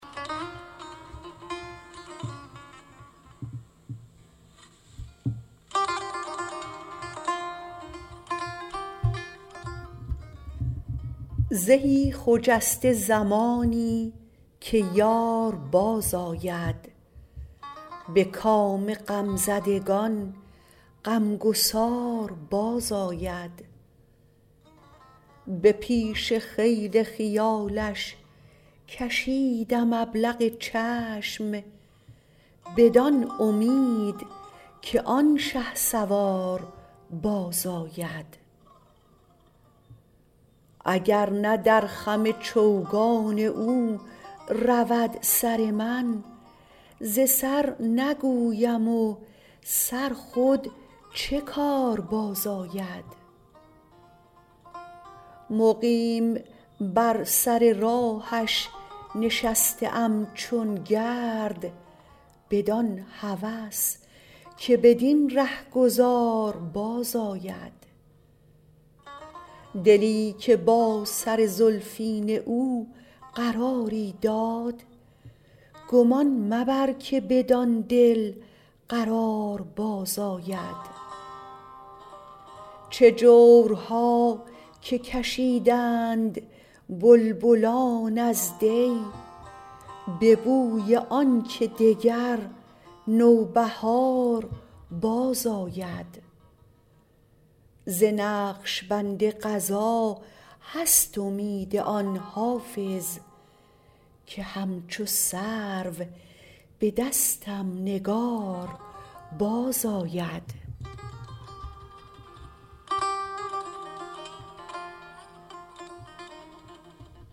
زهی خجسته زمانی که یار بازآید به کام غمزدگان غمگسار بازآید به پیش خیل خیالش کشیدم ابلق چشم بدان امید که آن شهسوار بازآید اگر نه در خم چوگان او رود سر من ز سر نگویم و سر خود چه کار بازآید مقیم بر سر راهش نشسته ام چون گرد بدان هوس که بدین رهگذار بازآید دلی که با سر زلفین او قراری داد گمان مبر که بدان دل قرار بازآید چه جورها که کشیدند بلبلان از دی به بوی آن که دگر نوبهار بازآید ز نقش بند قضا هست امید آن حافظ که همچو سرو به دستم نگار بازآید